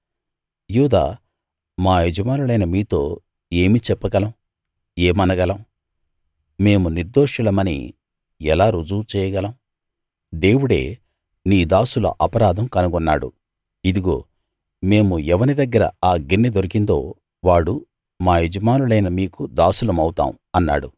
యూదా మా యజమానులైన మీతో ఏమి చెప్పగలం ఏమనగలం మేము నిర్దోషులమని ఎలా రుజువు చేయగలం దేవుడే నీ దాసుల అపరాధం కనుగొన్నాడు ఇదిగో మేమూ ఎవని దగ్గర ఆ గిన్నె దొరికిందో వాడూ మా యజమానులైన మీకు దాసులమవుతాం అన్నాడు